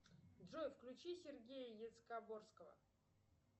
джой включи сергея яцкогорского